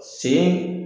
Sen